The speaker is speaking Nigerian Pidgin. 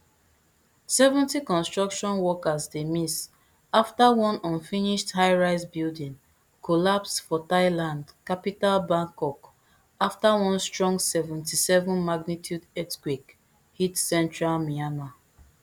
seventy construction workers dey miss afta one unfinished highrise building collapse for thailand capital bangkok afta one strong seventy-seven magnitude earthquake hit central myanmar